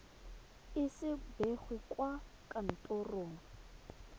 ise bo begwe kwa kantorong